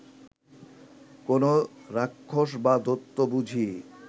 কোনো রাক্ষস বা দৈত্য বুঝি